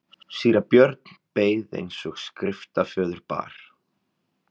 Síra Björn beið eins og skriftaföður bar.